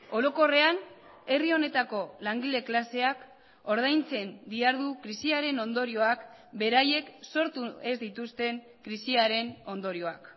orokorrean herri honetako langile klaseak ordaintzen dihardu krisiaren ondorioak beraiek sortu ez dituzten krisiaren ondorioak